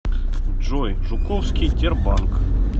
джой жуковский тербанк